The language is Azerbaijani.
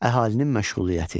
Əhalinin məşğuliyyəti.